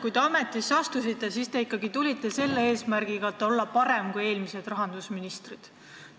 Kui te ametisse astusite, siis tõenäoliselt ikka selle eesmärgiga, et olla parem kui eelmised rahandusministrid.